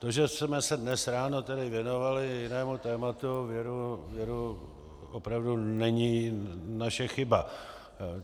To, že jsme se dnes ráno tady věnovali jinému tématu, věru opravdu není naše chyba.